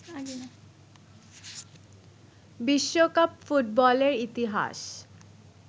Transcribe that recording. বিশ্বকাপ ফুটবলের ইতিহাস